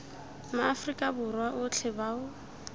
ma afrika borwa otlhe bao